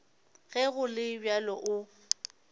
ge go le bjalo o